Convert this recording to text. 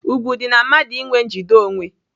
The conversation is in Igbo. Ùgwù dị na mmadụ inwe njide onwe.